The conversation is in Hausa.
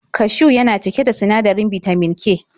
Kashiw yana cike da sinadarin bitamin K.